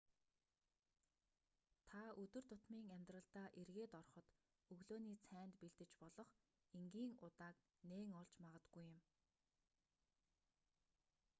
та өдөр тутмын амьдралдаа эргээд ороход өглөөний цайнд бэлдэж болох энгийн удааг нээн олж магадгүй юм